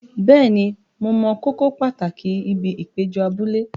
Bẹ́ẹ̀ni, mo mọ kókó pàtàkì ibi ìpéjọ abúlé.